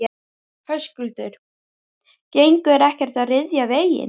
Höskuldur: Gengur ekkert að ryðja veginn?